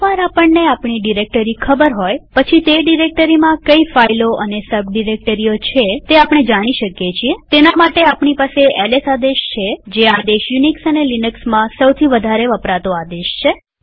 એક વાર આપણને આપણી ડિરેક્ટરી ખબર હોય પછી તે ડિરેક્ટરીમાં કઈ ફાઈલો અને સબ ડિરેક્ટરીઓ છે તે જાણી શકીએતેના માટે આપણી પાસે એલએસ આદેશ છે જે કદાચ યુનિક્સ અને લિનક્સમાં સૌથી વધારે વપરાતો આદેશ છે